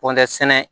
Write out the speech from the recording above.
Pɔntɛ sɛnɛ